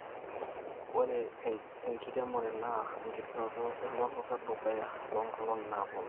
ore enjiremore naa enkiterunoto elototo edukaya toonkolong'i naapuonu